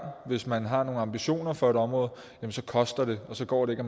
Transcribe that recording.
hvis man har nogle ambitioner for et område så koster det og så går det ikke